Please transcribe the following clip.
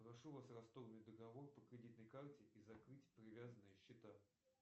прошу вас расторгнуть договор по кредитной карте и закрыть привязанные счета